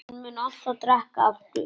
Hann mun alltaf drekka aftur.